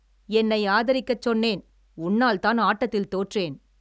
என்னை ஆதரிக்கச் சொன்னேன்! உன்னால்தான் ஆட்டத்தில் தோற்றேன்!